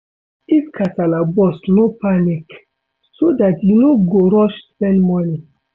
If kasala burst no panic, so dat you no go rush spend money